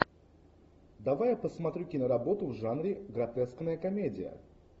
давай я посмотрю киноработу в жанре гротескная комедия